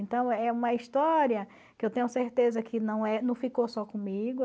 Então, é uma história que eu tenho certeza que não é, que não ficou só comigo.